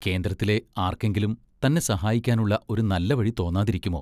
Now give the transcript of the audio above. കേന്ദ്രത്തിലെ ആർക്കെങ്കിലും തന്നെ സഹായിക്കാനുള്ള ഒരു നല്ല വഴി തോന്നാതിരിക്കുമോ?